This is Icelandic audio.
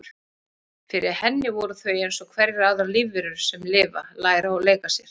Fyrir henni voru þau eins og hverjar aðrar lífverur sem lifa, læra og leika sér.